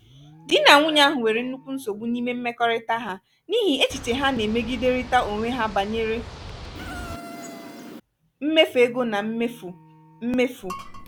di na nwunye ahụ nwere nnukwu nsogbu n'ime mmekọrịta ha n'ihi echiche ha na-emegiderịta onwe ha banyere mmefu ego na mmefu. mmefu.